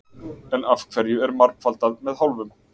En af hverju er margfaldað með hálfum?